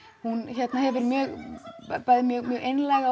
hún er bæði mjög einlæg